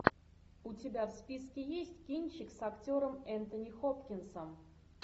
у тебя в списке есть кинчик с актером энтони хопкинсом